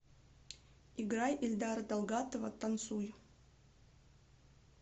играй эльдара далгатова танцуй